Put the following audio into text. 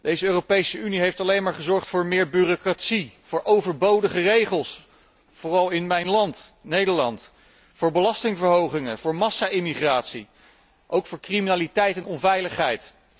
Deze Europese Unie heeft alleen maar gezorgd voor meer bureaucratie, voor overbodige regels, vooral in mijn land, Nederland, voor belastingverhogingen, voor massa immigratie, alsook voor criminaliteit en onveiligheid.